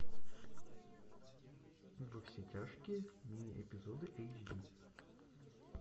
во все тяжкие мини эпизоды эйч ди